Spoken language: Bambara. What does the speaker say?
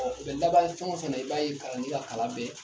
Ɔ o bɛ fɛn o fɛn na i b'a ye kalanden ka kalan bɛ